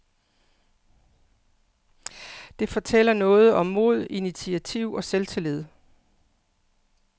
Det fortæller noget om mod, initiativ og selvtillid.